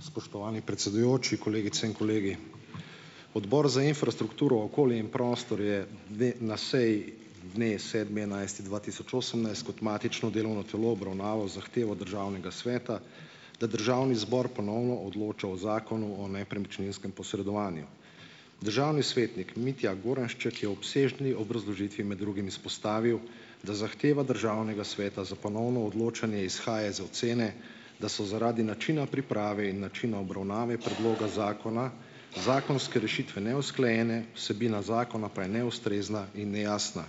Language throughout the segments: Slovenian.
Spoštovani predsedujoči, kolegice in kolegi! Odbor za infrastrukturo, okolje in prostor je dne na seji dne sedmi enajsti dva tisoč osemnajst kot matično delovno telo obravnaval zahtevo državnega sveta, da državni zbor ponovno odloča o Zakonu o nepremičninskem posredovanju. Državni svetnik Mitja Goranšček je obsežni obrazložitvi med drugim izpostavil, da zahteva državnega sveta za ponovno odločanje izhaja iz ocene, da so zaradi načina priprave in načina obravnave predloga zakona zakonske rešitve neusklajene, vsebina zakona pa je neustrezna in nejasna.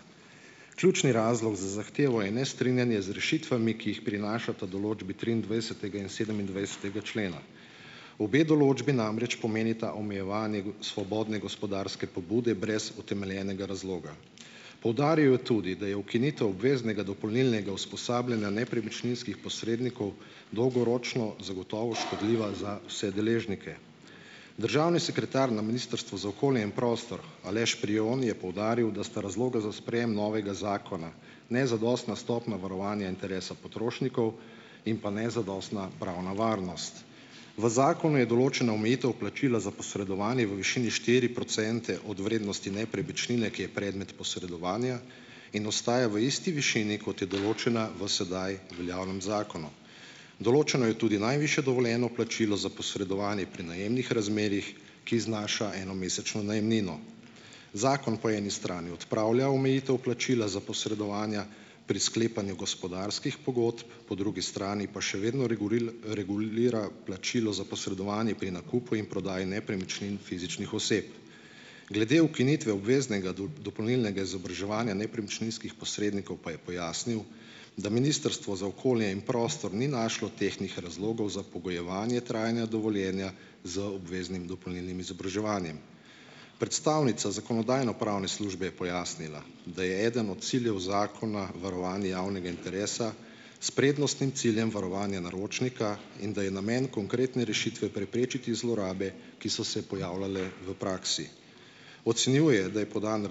Ključni razlog za zahtevo je nestrinjanje z rešitvami, ki jih prinašata določbi triindvajsetega in sedemindvajsetega člena. Obe določbi namreč pomenita omejevanje svobodne gospodarske pobude brez utemeljenega razloga. Poudaril je tudi, da je ukinitev obveznega dopolnilnega usposabljanja nepremičninskih posrednikov dolgoročno zagotovo škodljiva za vse deležnike. Državni sekretar na Ministrstvu za okolje in prostor Aleš Prijon je poudaril, da sta razloga za sprejem novega zakona nezadostna stopnja varovanja interesa potrošnikov in pa nezadostna pravna varnost. V zakonu je določena omejitev plačila za posredovanje v višini štiri procente od vrednosti nepremičnine, ki je predmet posredovanja in ostaja v isti višini, kot je določena v sedaj veljavnem zakonu. Določeno je tudi najvišje dovoljeno plačilo za posredovanje pri najemnih razmerjih, ki znaša enomesečno najemnino. Zakon po eni strani odpravlja omejitev plačila za posredovanja pri sklepanju gospodarskih pogodb, po drugi strani pa še vedno regulira plačilo za posredovanje pri nakupu in prodaji nepremičnin fizičnih oseb. Glede ukinitve obveznega dopolnilnega izobraževanja nepremičninskih posrednikov pa je pojasnil, da Ministrstvo za okolje in prostor ni našlo tehtnih razlogov za pogojevanje trajanja dovoljenja z obveznim dopolnilnim izobraževanjem. Predstavnica Zakonodajno-pravne službe je pojasnila, da je eden od ciljev zakona varovanje javnega interesa s prednostnim ciljem varovanja naročnika in da je namen konkretne rešitve preprečiti zlorabe, ki so se pojavljale v praksi. Ocenjuje, da je podan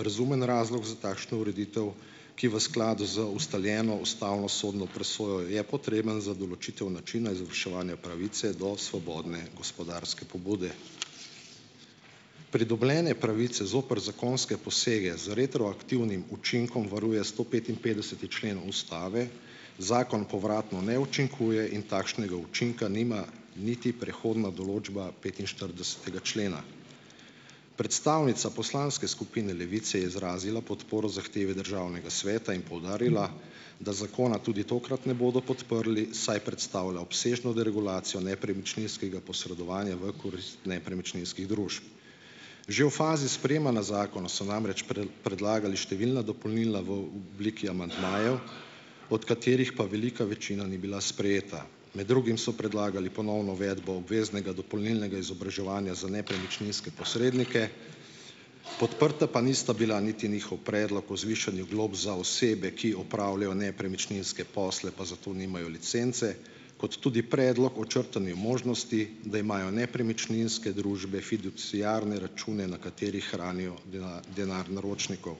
razumen razlog za takšno ureditev, ki v skladu z ustaljeno ustavo sodno presojo je potreben za določitev načina izvrševanja pravice do svobodne gospodarske pobude. Pridobljene pravice zoper zakonske posege z retroaktivnim učinkom varuje stopetinpetdeseti člen ustave, zakon povratno ne učinkuje in takšnega učinka nima niti prehodna določba petinštiridesetega člena. Predstavnica poslanske skupine Levica je izrazila podporo zahteve državnega sveta in poudarila, da zakona tudi tokrat ne bodo podprli, saj predstavlja obsežno deregulacijo nepremičninskega posredovanja v korist nepremičninskih družb. Že v fazi sprejemanja zakona so namreč predlagali številna dopolnila v obliki amandmajev , od katerih pa velika večina ni bila sprejeta. Med drugim so predlagali ponovno uvedbo obveznega dopolnilnega izobraževanja za nepremičninske posrednike, podprta pa nista bila niti njihov predlog o zvišanju glob za osebe, ki opravljajo nepremičninske posle pa zato nimajo licence, kot tudi predlog o črtanju možnosti, da imajo nepremičninske družbe fiduciarne račune, na katerih hranijo denar naročnikov.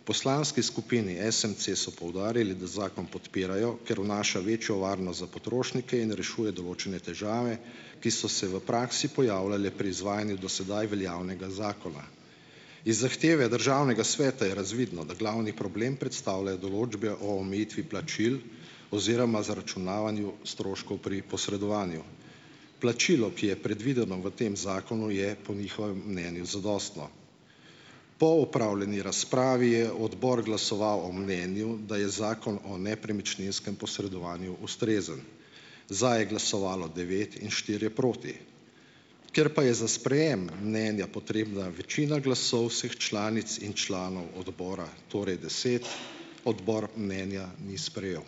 V poslanski skupini SMC so poudarili, da zakon podpirajo, ker vnaša večjo varnost za potrošnike in rešuje določene težave, ki so se v praksi pojavljale pri izvajanju do sedaj veljavnega zakona. Iz zahteve državnega sveta je razvidno, da glavni problem predstavljajo določbe o omejitvi plačil oziroma zaračunavanju stroškov pri posredovanju. Plačilo, ki je predvideno v tem zakonu, je po njihovem mnenju zadostno. Po opravljeni razpravi je odbor glasoval o mnenju, da je zakon o nepremičninskem posredovanju ustrezen. Za je glasovalo devet in štirje proti. Ker pa je za sprejem mnenja potrebna večina glasov vseh članic in članov odbora, torej deset, odbor mnenja ni sprejel.